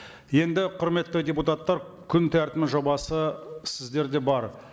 енді құрметті депутаттар күн тәртібінің жобасы сіздерде бар